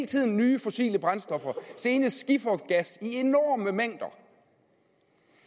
tiden nye fossile brændstoffer senest skifergas i enorme mængder